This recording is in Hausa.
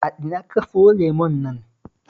A ina ka sayo lemon nan?